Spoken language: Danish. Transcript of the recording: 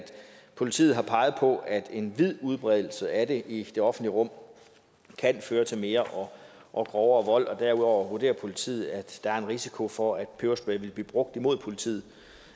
politiet har peget på at en vid udbredelse af det i det offentlige rum kan føre til mere og grovere vold og derudover vurderer politiet at der er en risiko for at peberspray vil blive brugt imod politiet